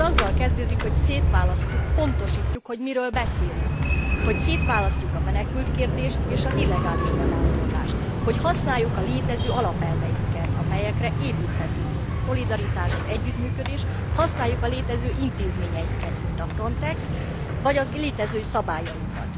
Ez azzal kezdődik, hogy szétválasztjuk, pontosítjuk, hogy miről beszélünk, hogy szétválasztjuk a menekültkérdést és az illegális bevándorlást, hogy használjuk a létező alapelveinket, amelyekre építhetünk, mint a szolidaritás, az együttműködés, hogy használjuk a létező intézményeinket, mint a FRONTEX, vagy a létező szabályainkat.